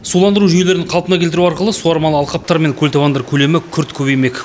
суландыру жүйелерін қалпына келтіру арқылы суармалы алқаптар мен көлтабандар көлемі күрт көбеймек